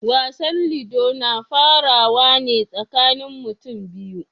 Wasan ludo na farawa ne tsakanin mutum biyu.